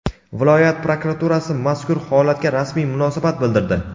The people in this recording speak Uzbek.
Viloyat prokuraturasi mazkur holatga rasmiy munosabat bildirdi.